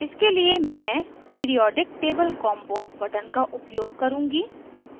इसके लिए मैं periodic table combo periodic table combo button का उपयोग करुँगी